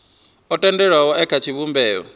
o tendelwaho e kha tshivhumbeo